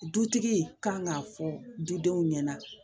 Dutigi kan k'a fɔ dudenw ɲɛna